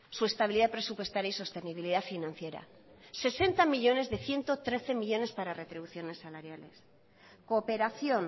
su estabilidad presupuestaria y sostenibilidad financiera sesenta millónes de ciento trece millónes para retribuciones salariales cooperación